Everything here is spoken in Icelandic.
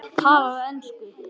Talaðu ensku!